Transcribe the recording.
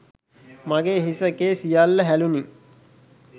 මගේ හිස කේ සියල්ල හැලුනි.